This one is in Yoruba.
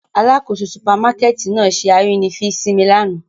Alakoso supamakẹti nạa ṣe arínifín si mi làná.